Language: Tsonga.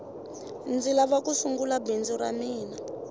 ndzi lava ku sungula bindzu ra mina